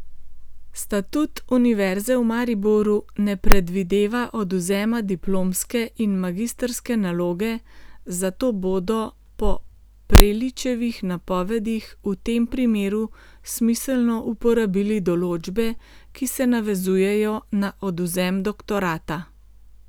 Statut Univerze v Mariboru ne predvideva odvzema diplomske in magistrske naloge, zato bodo po Preličevih napovedih v tem primeru smiselno uporabili določbe, ki se navezujejo na odvzem doktorata.